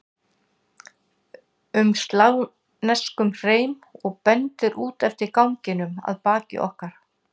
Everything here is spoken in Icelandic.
um slavneskum hreim og bendir út eftir ganginum að baki okkur.